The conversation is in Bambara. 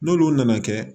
N'olu nana kɛ